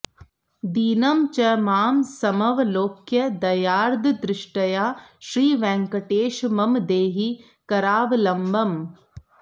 दीनं च मां समवलोक्य दयार्द्रदृष्ट्या श्रीवेङ्कटेश मम देहि करावलम्बम्